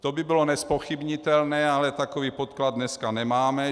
To by bylo nezpochybnitelné, ale takový podklad dneska nemáme.